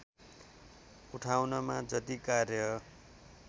उठाउनमा जति कार्य